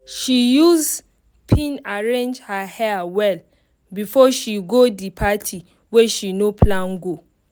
she use pin arrange her hair well before she go the party wey she no plan go.